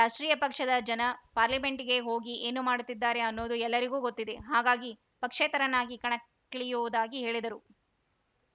ರಾಷ್ಟ್ರೀಯ ಪಕ್ಷದ ಜನ ಪಾರ್ಲಿಮೆಂಟ್‌ಗೆ ಹೋಗಿ ಏನು ಮಾಡ್ತಿದ್ದಾರೆ ಅನ್ನೋದು ಎಲ್ಲರಿಗೂ ಗೊತ್ತಿದೆ ಹಾಗಾಗಿ ಪಕ್ಷೇತರನಾಗಿ ಕಣಕ್ಕಿಳಿಯುವುದಾಗಿ ಹೇಳಿದರು